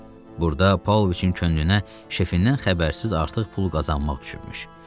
Burada Paulviçin könlünə şefindən xəbərsiz artıq pul qazanmaq düşübmüş.